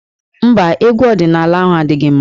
Mba, egwu ọdịnaala ahụ adịghị mma.